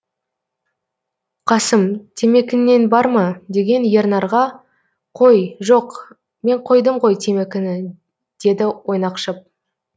қасым темекіңнен бар ма деген ернарға қой жоқ мен қойдым ғо темекіні деді ойнақшып